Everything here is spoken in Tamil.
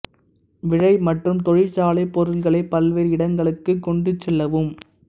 விழை மற்றும் தொழிற்சாலை பொருட்களை பல்வேறு இடங்களுக்கு கொண்டு செல்லவும்